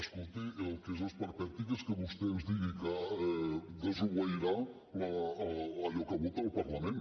escolti el que és esperpèntic és que vostè ens digui que desobeirà allò que vota el parlament